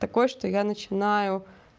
такое что я начинаю